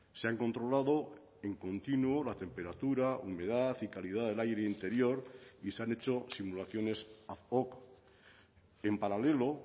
se han controlado en continuo la temperatura humedad y calidad del aire interior y se han hecho simulaciones en paralelo